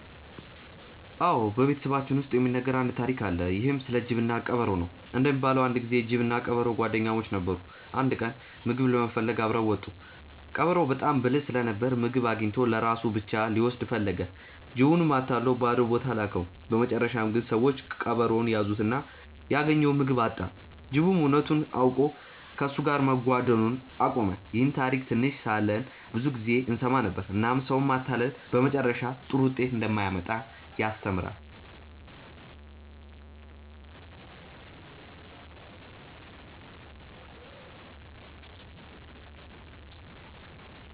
አዎ፣ በቤተሰባችን ውስጥ የሚነገር አንድ ታሪክ አለ። ይህም ስለ ጅብና ቀበሮ ነው። እንደሚባለው አንድ ጊዜ ጅብና ቀበሮ ጓደኛሞች ነበሩ። አንድ ቀን ምግብ ለመፈለግ አብረው ወጡ። ቀበሮው በጣም ብልህ ስለነበር ምግብ አግኝቶ ለራሱ ብቻ ሊወስድ ፈለገ። ጅቡንም አታሎ ባዶ ቦታ ላከው። በመጨረሻ ግን ሰዎች ቀበሮውን ያዙትና ያገኘውን ምግብ አጣ። ጅቡም እውነቱን አውቆ ከእሱ ጋር መጓደን አቆመ። ይህን ታሪክ ትንሽ ሳለን ብዙ ጊዜ እንሰማ ነበር፣ እናም ሰውን ማታለል በመጨረሻ ጥሩ ውጤት እንደማያመጣ ያስተምራል።